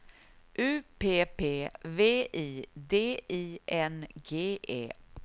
U P P V I D I N G E